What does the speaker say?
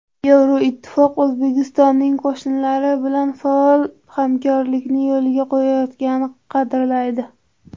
Yevroittifoq O‘zbekistonning qo‘shnilari bilan faol hamkorlikni yo‘lga qo‘yayotganini qadrlaydi.